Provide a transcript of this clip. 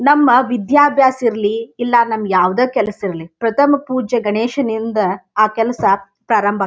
ನಮ್ಮ ವಿದ್ಯಾಭ್ಯಾಸ ಇರ್ಲಿ ಇಲ್ಲನಮ್ಗ್ ಯಾವಾದ ಕೆಲಸ ಇರ್ಲಿ ಪ್ರಥಮ ಪೂಜೆ ಗಣೇಶನಿಂದ ಆ ಕೆಲಸ ಪ್ರಾರಂಭ ಆಗ್ --